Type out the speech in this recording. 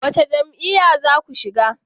Wace jam'iyya za ku shiga?